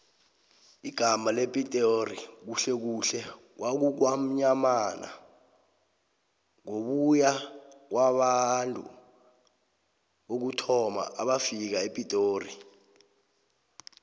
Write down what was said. igamma lepitori khuhlekhuhle kukwamnyamana ngokuya ngabantu bokuthoma ebafika epitori